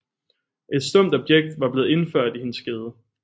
Et stumpt objekt var blevet indført i hendes skede